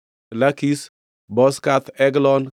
Lakish, Bozkath, Eglon,